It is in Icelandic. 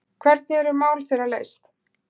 Hvernig eru mál þeirra leyst?